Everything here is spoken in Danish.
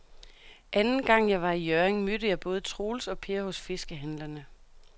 Anden gang jeg var i Hjørring, mødte jeg både Troels og Per hos fiskehandlerne.